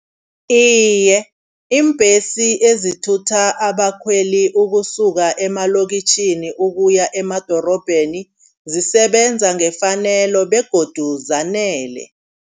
Iye iimbhesi ezithutha abakhweli ukusuka emalokitjhini ukuya emadorobheni zisebenza ngefanelo begodu zanele.